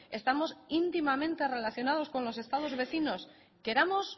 estamos íntimamente relacionados con los estados vecinos queramos